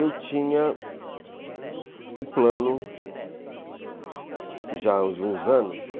Eu tinha um plano já de uns anos.